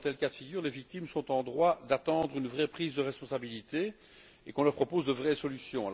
Dans un tel cas de figure, les victimes sont en droit d'attendre une vraie prise de responsabilité et qu'on leur propose de vraies solutions.